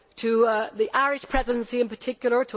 to the Irish Presidency in particular